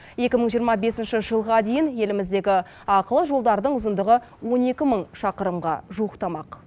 екі мың жиырма бесінші жылға дейін еліміздегі ақылы жолдардың ұзындығы он екі мың шақырымға жуықтамақ